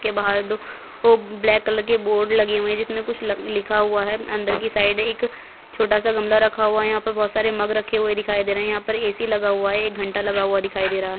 के बाहर दो वो ब्लैक कलर के बोर्ड लगे हुए है जिस में कुछ ल लिखा हुआ है अंदर की साइड एक छोटा सा गमला रखा हुआ है यहाँ पर बहुत सारे मग रखे हुए दिखाई दे रहे है यहाँ पर ए_सी लगा हुआ है एक घंटा लगा हुआ दिखाई दे रहा है।